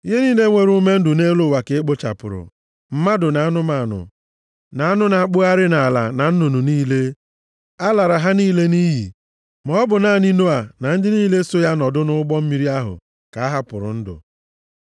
Ihe niile nwere ume ndụ nʼelu ụwa ka e kpochapụrụ. Mmadụ na anụmanụ, na anụ na-akpụgharị nʼala na nnụnụ niile. A lara ha niile nʼiyi. Ma ọ bụ naanị Noa na ndị niile so ya nọdụ nʼụgbọ mmiri ahụ ka a hapụrụ ndụ.